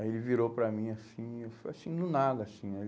Aí ele virou para mim assim, foi assim, no nada, assim.